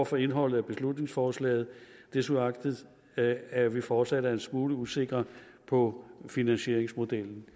for indholdet i beslutningsforslaget desuagtet at at vi fortsat er en smule usikre på finansieringsmodellen